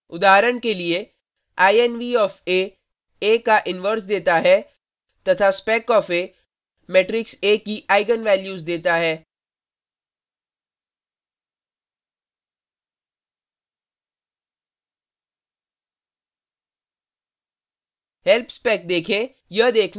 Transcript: उदाहरण के लिए: inv of a a का इनवर्स देता है तथा spec of a matrix a की आईगन वैल्यूज देता है